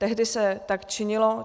Tehdy se tak činilo.